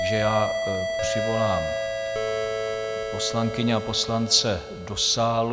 Takže já přivolám poslankyně a poslance do sálu.